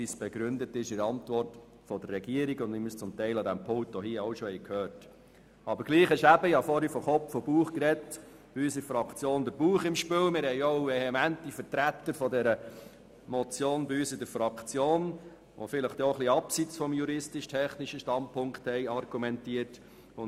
Aber trotzdem ist in unserer Fraktion der Bauch im Spiel, und wir haben vehemente Vertreter dieser Motion, die vielleicht auch etwas abseits vom juristisch-technischen Standpunkt argumentieren.